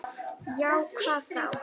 Já, hvað þá?